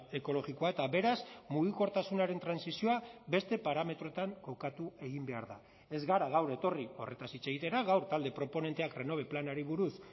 ekologikoa eta beraz mugikortasunaren trantsizioa beste parametroetan kokatu egin behar da ez gara gaur etorri horretaz hitz egitera gaur talde proponenteak renove planari buruz